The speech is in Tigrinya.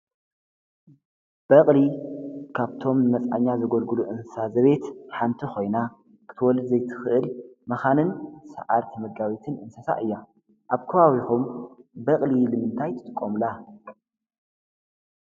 በቕሊ ካብቶም መፃኛ ዘጐድግሉ እንሳ ዘቤት ሓንቲ ኾይና ክትወልድ ዘይትኽእል መኻንን ሠዓርቲመጋቢትን እንስሳ እያ ኣብ ከባዊኹም በቕሊ ልምንታይ ትጥቆምላ